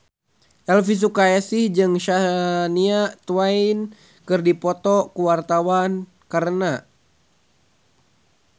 Elvy Sukaesih jeung Shania Twain keur dipoto ku wartawan